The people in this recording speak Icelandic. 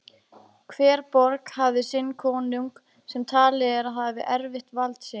Hver borg hafði sinn konung sem talið er að hafi erft vald sitt.